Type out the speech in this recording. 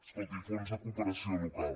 escolti fons de cooperació local